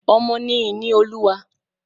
Ọmọ ni ìní olúwa.